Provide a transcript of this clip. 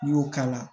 N'i y'o k'a la